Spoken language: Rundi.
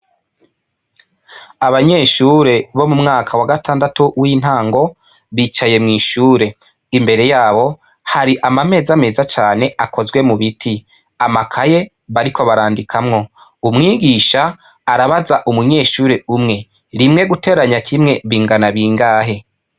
Abanyeshure bo mumwaka wagatandatu wintango, bicaye mw'ishure imbere yabo hari amameza meza cane akozwe mubiti, amakaye bariko barandikamwo , umwigisha arabaza umunyeshure umwe, rimwe guteranya kimwe bingana bingahe ?.